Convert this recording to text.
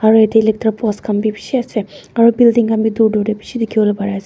aro ete electric post kahn bi bishi ase aro building khan bi dur dur de bishi dikhibo pari ase.